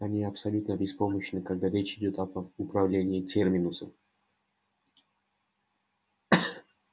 они абсолютно беспомощны когда речь идёт об управлении терминусом